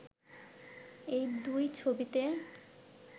এই দুই ছবিতে